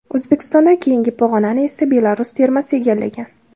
O‘zbekistondan keyingi pog‘onani esa Belarus termasi egallagan.